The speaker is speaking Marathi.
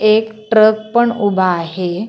एक ट्रक पण उभा आहे.